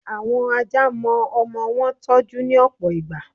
Àwọn Ajá mo ọmọ wọn tọ́jú, ní òpò ìgbà.